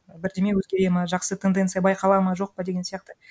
бірдеме өзгереді ма жақсы тенденция байқала ма жоқ па деген сияқты